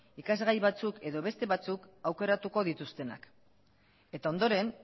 ikasgai batzuk edo besta batzuk aukeratuko dituztenak eta ondoren